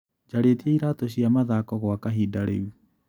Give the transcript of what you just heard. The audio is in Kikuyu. Njarĩtie iratũ cia mathako gwa kahinda rĩu.